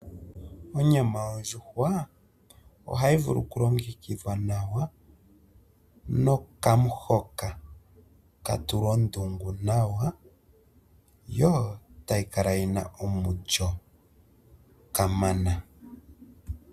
Onyama yondjuhwa ohayi vulu oku longekidhwa nawa nokamuhoka ka tulwa ondungu nawa, yo tayi kala yina omulyo kamana.